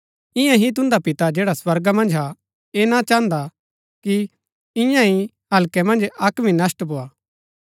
ईयां ही तुन्दा पिता जैडा स्वर्गा मन्ज हा ऐह ना चाहन्दा कि ईयांईं हल्कै मन्ज अक्क भी नष्‍ट भोआ